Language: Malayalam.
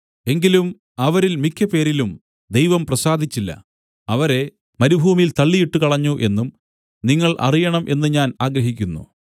എങ്കിലും അവരിൽ മിക്കപേരിലും ദൈവം പ്രസാദിച്ചില്ല അവരെ മരുഭൂമിയിൽ തള്ളിയിട്ടുകളഞ്ഞു എന്നും നിങ്ങൾ അറിയണം എന്ന് ഞാൻ ആഗ്രഹിക്കുന്നു